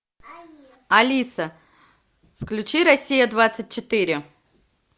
алиса включи россия двадцать четыре